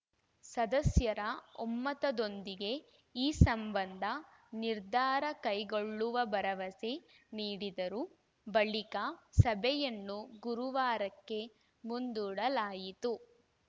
ಸದಸ್ಯರ ಒಮ್ಮತದೊಂದಿಗೆ ಈ ಸಂಬಂಧ ನಿರ್ಧಾರ ಕೈಗೊಳ್ಳುವ ಭರವಸೆ ನೀಡಿದರು ಬಳಿಕ ಸಭೆಯನ್ನು ಗುರುವಾರಕ್ಕೆ ಮುಂದೂಡಲಾಯಿತು